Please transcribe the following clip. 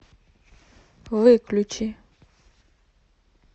выключи